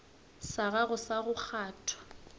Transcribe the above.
sa gago sa go kgwatha